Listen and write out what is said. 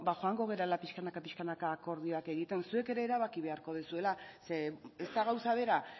joango garela pixkanaka pixkanaka akordioak egiten zuek ere erabaki beharko duzuela zeren ez da gauza bera